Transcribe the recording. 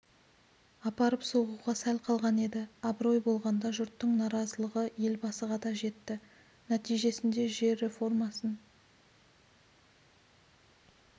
апарып соғуға сәл қалған еді абырой болғанда жұрттың наразылығы елбасыға да жетті нәтижесінде жер реформасын